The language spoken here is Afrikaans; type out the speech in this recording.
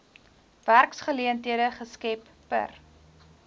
werksgeleenthede geskep per